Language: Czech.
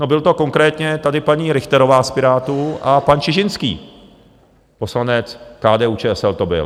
No, byla to konkrétně tady paní Richterová z Pirátů a pan Čižinský, poslanec KDU-ČSL to byl.